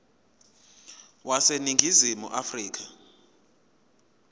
wase ningizimu afrika